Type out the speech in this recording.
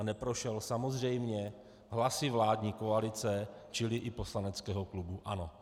A neprošel samozřejmě hlasy vládní koalice, čili i poslaneckého klubu ANO.